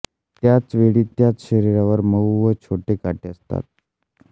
त्याचवेळी त्यांच्या शरीरावर मऊ व छोटे काटे असतात